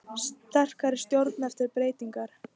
Sterkari stjórn eftir breytingar